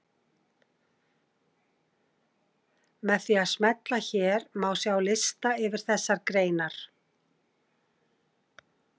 Með því að smella hér má sjá lista yfir þessar greinar.